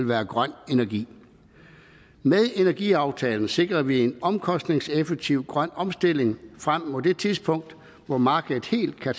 være grøn energi med energiaftalen sikrer vi en omkostningseffektiv grøn omstilling frem mod det tidspunkt hvor markedet helt kan